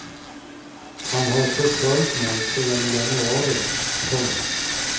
Han har förföljt mig sedan i januari. punkt